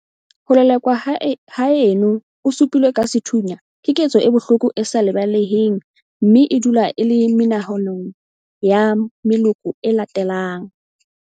Ho lelekwa haeno o su pilwe ka sethunya keketso e bohloko e sa lebaleheng mme e dula e le menahanong ya meloko e latelang.